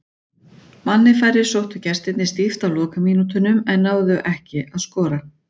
Manni færri sóttu gestirnir stíft á lokamínútunum en náðu ekki að skora.